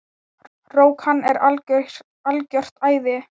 Rok, hann er algjört æði.